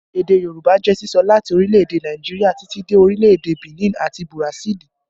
Èdè Yorùbá jẹ́ sísọ láti orílẹ̀ èdè Nàìjíríà títí dé orílẹ̀ èdè Benin àti Burasili